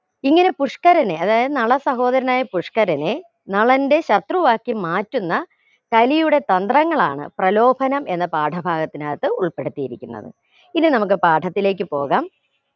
ഇങ്ങനെ പുഷ്കരനെ അതായത് നള സഹോദരനായ പുഷ്കരനെ നളന്റെ ശത്രുവാക്കി മാറ്റുന്ന കലിയുടെ തന്ത്രങ്ങളാണ് പ്രലോഭനം എന്ന പാഠഭാഗത്തിനകത്ത് ഉൾപ്പെടുത്തിയിരിക്കുന്നത് ഇനി നമുക്ക് പാഠത്തിലേക്കു പോകാം